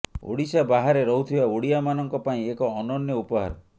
ଓଡିଶା ବାହାରେ ରହୁଥିବା ଓଡ଼ିଆ ମାନଙ୍କ ପାଇଁ ଏକ ଅନନ୍ୟ ଉପହାର